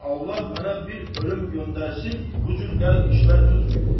amma Allah mənə bir ölüm göndərsin, bu cür qəlb işlər tutmuyum.